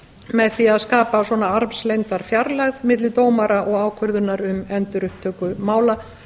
með því að skapa svona armslengdarfjarlægð milli dómara og ákvörðunar um endurupptöku mála